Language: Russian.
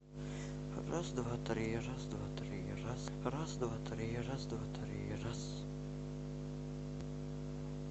раз два три раз два три раз раз два три раз два три раз